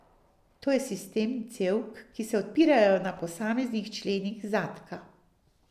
To je sistem cevk, ki se odpirajo na posameznih členih zadka.